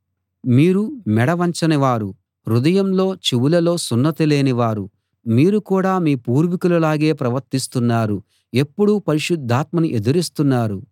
మీరు మెడ వంచనివారూ హృదయంలో చెవులలో సున్నతి లేని వారు మీరు కూడా మీ పూర్వీకుల లాగే ప్రవర్తిస్తున్నారు ఎప్పుడూ పరిశుద్ధాత్మను ఎదిరిస్తున్నారు